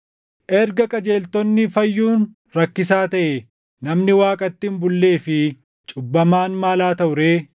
“Erga qajeeltonni fayyuun rakkisaa taʼe, namni Waaqatti hin bullee fi cubbamaan maal haa taʼu ree?” + 4:18 \+xt Fak 11:31\+xt*